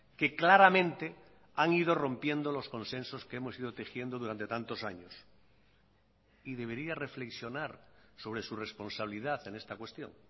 que claramente han ido rompiendo los consensos que hemos ido tejiendo durante tantos años y debería reflexionar sobre su responsabilidad en esta cuestión